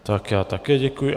Tak já také děkuji.